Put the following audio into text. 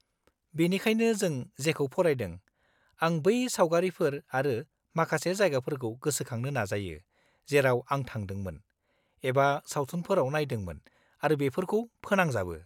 -बेनिखायनो जों जेखौ फरायदों, आं बै सावगारिफोर आरो माखासे जायगाफोरखौ गोसोखांनो नाजायो जेराव आं थांदोंमोन, एबा सावथुनफोराव नायदोंमोन आरो बेफोरखौ फोनांजाबो।